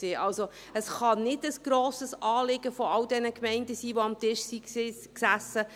Es kann also nicht ein grosses Anliegen all dieser Gemeinden sein, die am Tisch sassen.